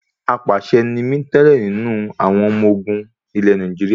Apàṣẹ ni mí tẹ́lẹ̀ nínú àwọn ọmọ ogun ilẹ Nàìjíríà.